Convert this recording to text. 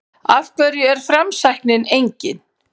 Af hverju er framsæknin engin?